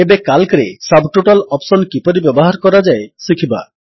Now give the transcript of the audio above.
ଏବେ କାଲ୍କରେ subtotal option କିପରି ବ୍ୟବହାର କରାଯାଏ ଶିଖିବା